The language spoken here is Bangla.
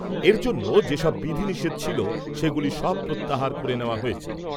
এর জন্য যে সব বিধি নিষেধ ছিল, সেগুলি সব প্রত্যাহার করে নেওয়া হয়েছে।